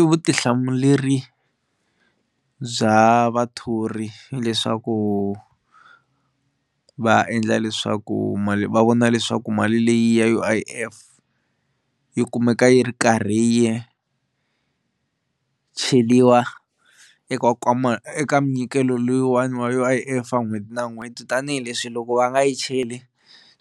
I vutihlamuleri bya vathori hileswaku va endla leswaku mali va vona leswaku mali leyi ya U_I_F yi kumeka yi ri karhi yi cheliwa eka nkwama eka minyikelo loyiwani wa U_I_F swa n'hweti na n'hweti tanihileswi loko va nga yi cheli